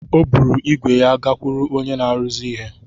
O buru ígwè ya gakwuru onye na-arụzi ihe.